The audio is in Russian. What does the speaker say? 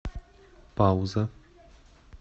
пауза